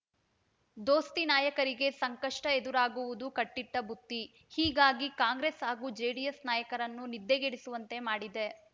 ದೋಸ್ತಿ ನಾಯಕರಿಗೆ ಸಂಕಷ್ಟ ಎದುರಾಗುವುದು ಕಟ್ಟಿಟ್ಟಬುತ್ತಿ ಹೀಗಾಗಿ ಕಾಂಗ್ರೆಸ್ ಹಾಗೂ ಜೆಡಿಎಸ್ ನಾಯಕರನ್ನು ನಿದ್ದೆಗೆಡಿಸುವಂತೆ ಮಾಡಿದೆ